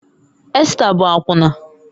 Esta bụ akwụna